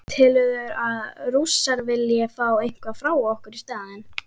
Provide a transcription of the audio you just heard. Telurðu að Rússar vilji fá eitthvað frá okkur í staðinn?